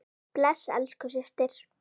Bless elsku systir.